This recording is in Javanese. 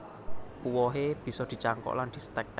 Uwohe bisa dicangkok lan distek